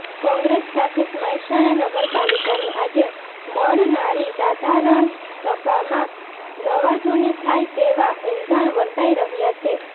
કોંગ્રેસ શાસિત મહેસાણા નગરપાલિકાની આજે મળનારી સાધારણ સભામાં નવાજૂની થાય તેવા એંધાણ વર્તાઈ રહ્યાં છે